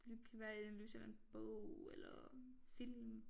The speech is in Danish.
Det kan være analyse af en eller anden bog eller film